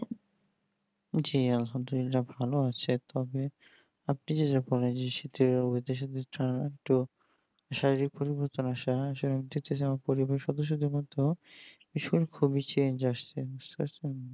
জি আলহামদুল্লিলা ভালো আছে তবে আপনি যে যখন এই শীতের তো শারীরিক পরিবর্তন আসা পরিবেশ সদস্যদের মতো খুবই change আসছে